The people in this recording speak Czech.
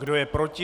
Kdo je proti?